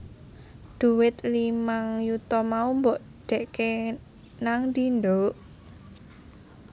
Dhuwit limang yuta mau mbok dhekek nangdi nduk?